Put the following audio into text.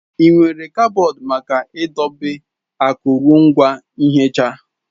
Enwere kaboodu maka idobe akụrụngwa nhicha.